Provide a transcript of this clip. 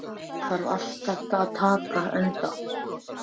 Maríon, einhvern tímann þarf allt að taka enda.